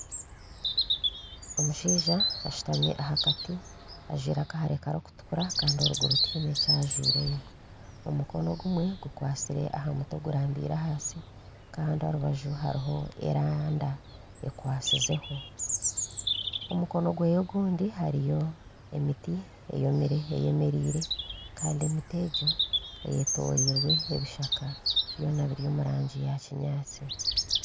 Omushaija ashutami aha kati ajwire akahare karikutukura kandi eruguru tiheine kyajwireyo. Omukono ogumwe gukwastire aha muti ogurambire ahansi Kandi aha rubaju hariho eranda ekwasizeho. Omukono gwe ogundi hariyo emiti eyomire eyemereire kandi emiti egyo eyetoriirwe ebishaka byona biri omu rangi ya kinyaansi